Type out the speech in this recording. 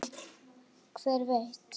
Hver veit